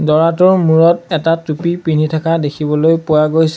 দৰাটোৰ মূৰত এটা টুপী পিন্ধি থকা দেখিবলৈ পোৱা গৈছে।